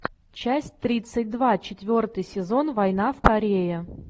часть тридцать два четвертый сезон война в корее